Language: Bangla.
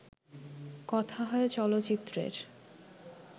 কথা হয় চলচ্চিত্রের